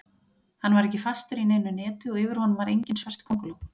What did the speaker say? Hann var ekki fastur í neinu neti og yfir honum var engin svört könguló.